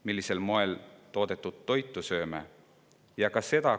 Millisel moel toodetud toitu me sööme?